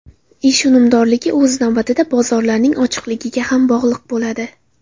Ish unumdorligi o‘z navbatida bozorlarning ochiqligiga ham bog‘liq bo‘ladi.